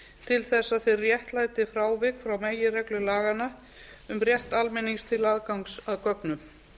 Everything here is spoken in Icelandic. til að þeir réttlæti frávik frá meginreglu laganna um rétt almennings til aðgangs að gögnum